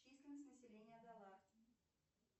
численность населения далар